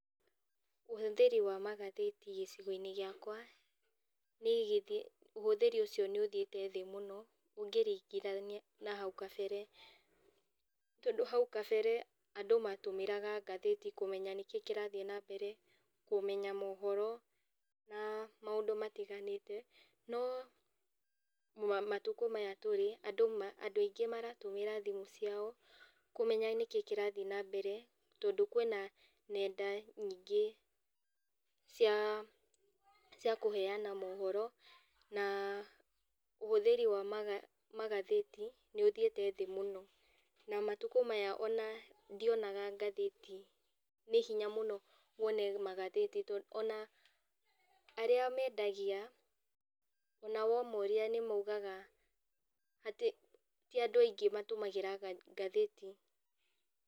Ũhũthĩri wa magathĩti gĩcigoinĩ gĩakwa, nĩgĩ, ũhũthĩri ũcio nĩ ũthiĩte thĩ mũno, ũngĩringithania na hau kabere. Tondũ hau kabere, andũ matũmĩraga ngathĩti kũmenya nĩkĩi kĩrathiĩ nambere, kũmenya mohoro, na maũndũ matiganĩte no matukũ maya tũrĩ, andũ ma andũ aingĩ maratũmĩra thimũ ciao, kũmenya nĩkĩĩ kĩrathiĩ nambere tondũ kwĩna nenda nyingĩ cia cia kũheana mohoro, na ũhũthĩri wa maga magathĩti, nĩũthiĩte thĩ mũno, na matukũ maya ona ndionaga ngathĩti, nĩ hinya mũno wone magathĩti tondũ ona arĩa mendagia, ona wamoria nĩmaugaga atĩ ti andũ aingĩ matũmagĩra ngathĩti.